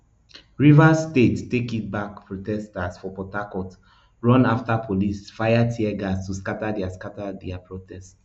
rivers state take it back protesters for port harcourt run afta police fire teargas to scata dia scata dia protest